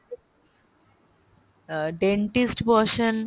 আহ dentist বসেন